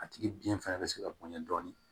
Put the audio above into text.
A tigi biɲɛ fana be se ka bonɲa dɔɔni